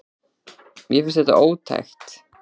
Mér finnst þetta ótækt.